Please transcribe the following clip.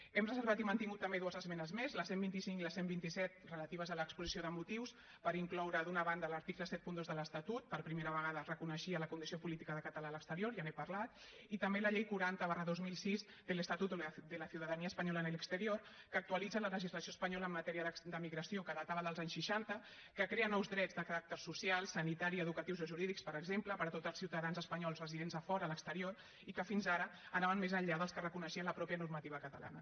hem reservat i mantingut també dues esmenes més la cent i vint cinc i la cent i vint set relatives a l’exposició de motius per incloure d’una banda l’article setanta dos de l’estatut per primera vegada es reconeixia la condició política de català a l’exterior ja n’he parlat i també la llei quaranta dos mil sis del estatuto de la ciudadanía española en el exterior que actualitza la legislació espanyola en matèria d’emigració que datava dels anys seixanta que crea nous drets de caràcter social sanitari educatius o jurídics per exemple per a tots els ciutadans espanyols residents a fora a l’exterior i que fins ara anaven més enllà dels que reconeixia la mateixa normativa catalana